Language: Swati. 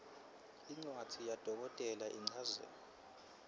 incwadzi yadokotela lechazako